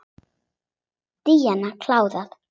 Díana klára.